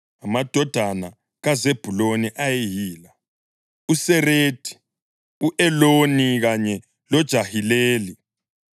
Amadodana kaZebhuluni ayeyila: uSeredi, u-Eloni kanye loJahileli.